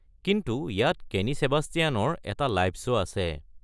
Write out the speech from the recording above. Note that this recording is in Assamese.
কিন্তু ইয়াত কে'নী ছেবাষ্টিয়ানৰ এটা লাইভ শ্ব' আছে।